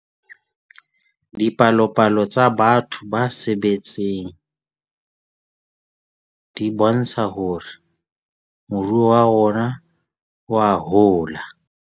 Dipalopalo tsa batho ba sebetseng di bontsha hore moruo wa rona oa hola.